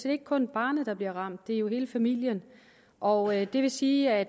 ikke kun er barnet der bliver ramt det er jo hele familien og det vil sige at